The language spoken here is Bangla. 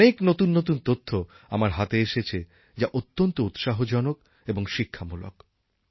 অনেক নতুন নতুন তথ্য আমার হাতে এসেছে যা অত্যন্ত উৎসাহজনক এবং শিক্ষামূলক